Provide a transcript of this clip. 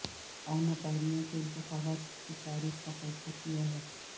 Ontario کے انتخابات کی تاریخ کا فیصلہ کیا ہے